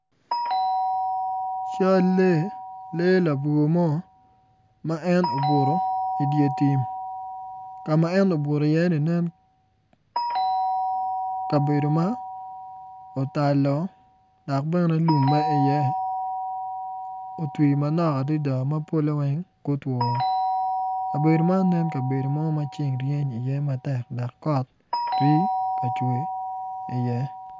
Cal lee labwor mo ma en obuto idye tim ka ma en obuto iyenu nen kabedo ma otalo dok bene lum ma iye otwi manok adada ma polle weng gutwoo kabedo man nen kabedo ma ceng ryeny matek dok kot rii ka cwe.